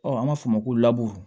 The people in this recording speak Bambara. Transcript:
an b'a fɔ o ma ko